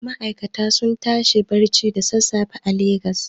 Ma'aikata suna tashi barci da sassafe a Legas.